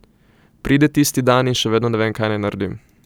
Pride tisti dan in še vedno ne vem, kaj naj naredim.